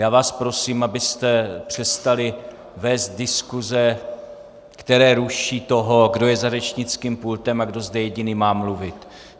Já vás prosím, abyste přestali vést diskuse, které ruší toho, kdo je za řečnickým pultem a kdo zde jediný má mluvit.